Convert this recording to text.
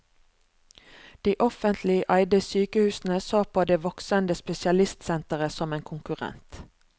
De offentlige eide sykehusene så på det voksende spesialistsenteret som en konkurrent.